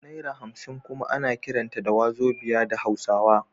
Naira hamsin kuma ana kiranta da Wazobia da hausawa